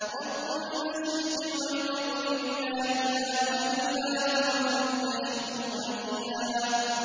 رَّبُّ الْمَشْرِقِ وَالْمَغْرِبِ لَا إِلَٰهَ إِلَّا هُوَ فَاتَّخِذْهُ وَكِيلًا